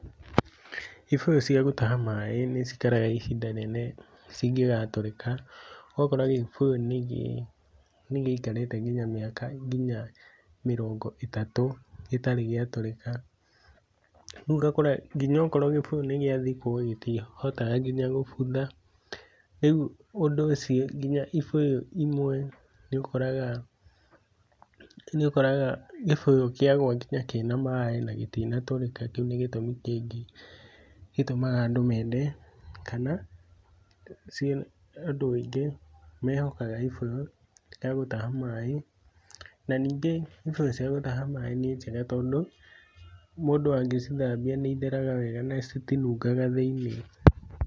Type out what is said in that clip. Ibũyu cia gũtaha maĩĩ nĩciĩkaraga ihinda inene cingegatũrĩka, ũgakora gibũyu nĩgiikarĩte ngina mĩaka ngina mĩrongo ĩtatũ gitarĩ gĩatũrĩka. Rĩu ũgakora ngina okorwo gibũyũ nĩgĩathikwo gĩtihotaga ngina gũbũtha, rĩu ũndũ ũcio ngina ĩbũyũ ĩmwe nĩũkoraga nĩũkoraga gĩbũyũ kĩagwa ngina kina maĩna gĩtinatũrĩka, kĩu nĩ gĩtũmi kĩngĩ gĩtũmaga andũ mende kana andũ aĩngĩ mehokaga ibũyu gĩa gũtaha maĩ na ningĩ ibũyũ cia nĩ njega tondũ mũndũ angĩcithambĩa nĩ itheraga wega na citinungaga thĩinĩ.